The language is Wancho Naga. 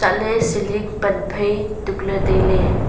chatley ceiling pan phai tukley tailey.